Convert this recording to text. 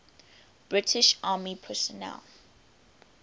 british army personnel